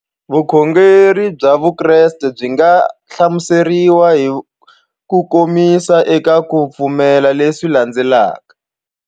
Vukhongeri bya Vukreste byi nga hlamuseriwa hi kukomisa eka ku pfumela leswi landzelaka.